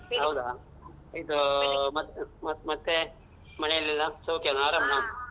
ಹೌದಾ ಇದೂ ಮತ್ತ್ ಮತ್ತ್ ಮತ್ತೆ ಮನೆಯಲ್ಲ್ ಎಲ್ಲ ಸೌಖ್ಯಾನ